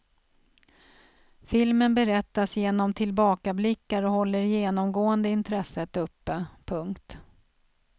Filmen berättas genom tillbakablickar och håller genomgående intresset uppe. punkt